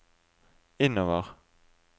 innover